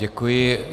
Děkuji.